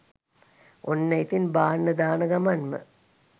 ඔන්න ඉතින් බාන්න දාන ගමන්ම